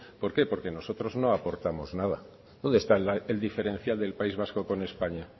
por qué porque nosotros no aportamos nada dónde está el diferencial del país vasco con españa